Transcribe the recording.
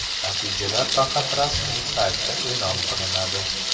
Natijalar faqat rasmiy saytda e’lon qilinadi.